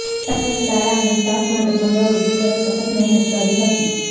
ટાગોરે શાળા અને સ્ટાફ માટે ભંડોળ ઉભું કરવા સખત મહેનત કરી હતી